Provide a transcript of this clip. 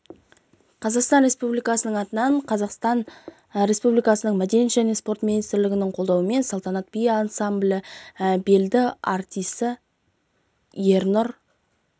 қазақстан республикасының атынан қазақстан республикасының мәдениет және спорт министрлігінің қолдауымен салтанат би ансамблінің белді артисі ернұр